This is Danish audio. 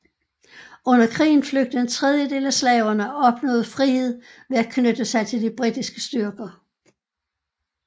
Under krigen flygtede en tredjedel af slaverne og opnåede frihed ved at knytte sig til de britiske styrker